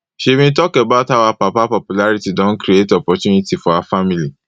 she bin tok about how her papa popularity don create opportunity for her family